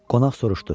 Qonaq soruşdu.